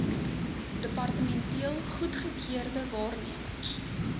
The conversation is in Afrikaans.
departementeel goedgekeurde waarnemers